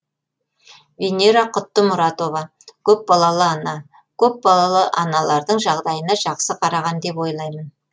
венера құттымұратова көпбалалы ана көпбалалы аналардың жағдайына жақсы қараған деп ойлаймын